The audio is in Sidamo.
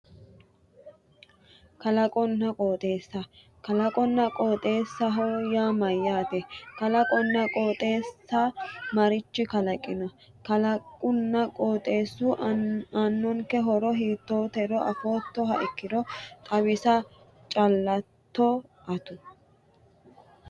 Kalaqonna qooxeessa kalaqonna qooxeessaho yaa mayyaate kalaqonna qooxeessa marichi kalaqino kalaqunna qooxeessu aannonke horo hiittootero afoottoha ikkiro xawisa chaalatto atu